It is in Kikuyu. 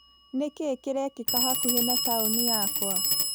Nĩkĩĩ kĩrekĩka hakuhĩ na taũni yakwa?